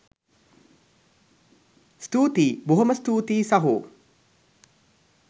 ස්තුතියි බොහොම ස්තූතියි සහෝ